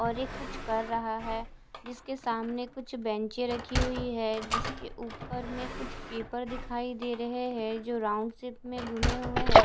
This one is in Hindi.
और ये कुछ कर रहा है जिसके सामने कुछ बेंचें रखी हुई है जिसके ऊपर में कुछ पेपर दिखाई दे रहे हैं जो राउंड शेप में घूमे हुए हैं।